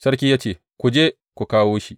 Sarki ya ce, Ku je ku kawo shi.